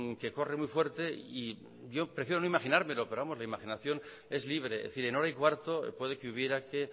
que corre muy fuerte y yo prefiero no imaginármelo pero la imaginación es libre en hora y cuarto puede que hubiera que